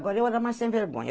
Agora, eu era mais sem vergonha.